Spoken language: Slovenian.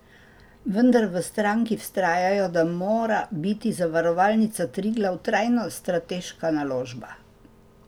Vendar v stranki vztrajajo, da mora biti Zavarovalnica Triglav trajno strateška naložba.